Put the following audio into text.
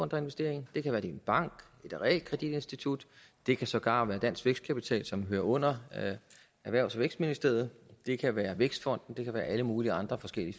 der investerer i en det kan være det er en bank et realkreditinstitut det kan sågar være dansk vækstkapital som hører under erhvervs og vækstministeriet det kan være vækstfonden det kan være i alle mulige andre forskellige